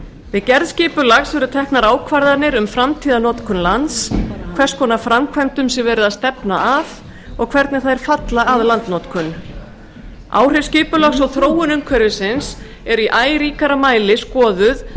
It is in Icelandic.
við gerð skipulags eru teknar ákvarðanir um framtíðarnotkun lands hvers konar framkvæmdum sé verið að stefna að og hvernig þær falla að landnotkun áhrif skipulags og þróun umhverfisins eru í æ ríkara mæli skoðuð